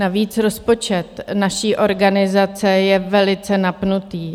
Navíc rozpočet naší organizace je velice napnutý.